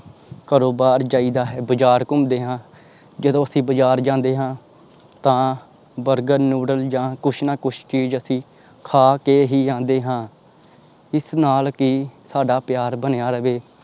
ਘਰੋਂ ਬਾਹਰ ਜਾਈਦਾ ਹੈ ਬਜ਼ਾਰ ਘੁੰਮਦੇ ਹਾਂ ਜਦੋਂ ਅਸੀਂ ਬਾਜ਼ਾਰ ਜਾਂਦੇ ਹਾਂ ਤਾਂ ਬਰਗਰ, ਨੂਡਲ ਜਾਂ ਕੁਛ ਨਾ ਕੁਛ ਚੀਜ਼ ਅਸੀਂ ਖਾ ਕੇ ਹੀ ਆਉਂਦੇ ਹਾਂ ਇਸ ਨਾਲ ਕਿ ਸਾਡਾ ਪਿਆਰ ਬਣਿਆ ਰਵੇ।